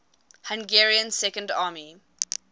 hungarian second army